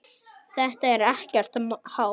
Þetta er ekkert hátt.